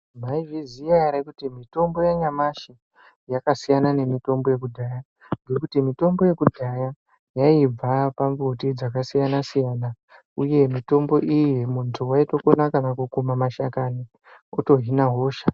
Mwaizviziya ere kuti mitombo yanyamashi yakasiyana nemitombo yekudhaya ngekuti mitombo yekudhaya yaibva pambuti dzakasiyana siyana uye mitombo iyi muntu waitokona kana kukuma mashakani woto hina hosha.